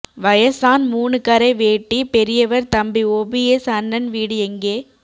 வயசான் மூணு கரை வேட்டி பெரியவர் தம்பி ஓபிஎஸ் அண்ணன் வீடு எங்கே